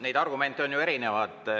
Neid argumente on ju erinevaid.